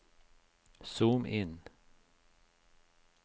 zoom inn